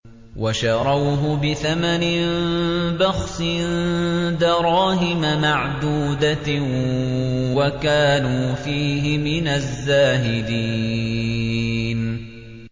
وَشَرَوْهُ بِثَمَنٍ بَخْسٍ دَرَاهِمَ مَعْدُودَةٍ وَكَانُوا فِيهِ مِنَ الزَّاهِدِينَ